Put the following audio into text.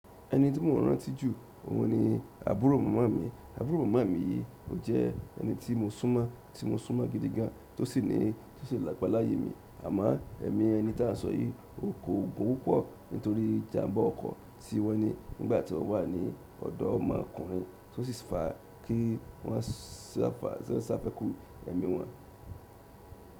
Ẹni tí mo mọ̀ rántí jù, òun ni àbúrò màmá mi. Àbúrò màmá mi yìí, ò jẹ́ ẹni tí mo sún mọ́, tí mo sún mọ́ gidi gan, tó sì ní, tó sì làpáláyé mi. Àmọ́ ẹ̀mí ẹni tí a ń sọ yìí, o kó ogun púpọ̀ nítorí ìjàmbá ọkọ̀ tí wọn ní nígbà tí o wà ní ọ̀dọ̀ ọmọ ọkùnrin tó sì fa kí wọ́n sàfẹ́kù ẹ̀mí wọn.